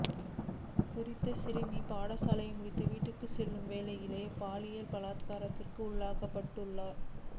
குறித்த சிறுமி பாடசாலை முடிந்து வீட்டுக்குச் செல்லும் வேளையிலேயே பாலியல் பலாத்காரத்திற்கு உள்ளாக்கப்பட்டுள்ளார்